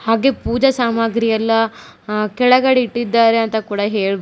ಹಾಗೆ ಪೂಜಾ ಸಾಮಗ್ರಿ ಎಲ್ಲಾ ಅ ಕೆಳಗಡೆ ಇಟ್ಟಿದ್ದಾರೆ ಅಂತ ಕೂಡ ಹೇಳಬಹುದು.